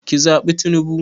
Ki zaɓi tinubu